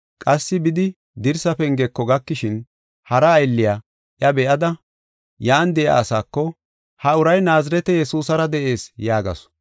Qassi bidi dirsaa pengeko gakishin hara aylliya iya be7ada, yan de7iya asaako, “Ha uray Naazirete Yesuusara de7ees” yaagasu.